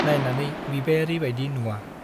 नाइनानै बिबायारी बाइदि नुवा ।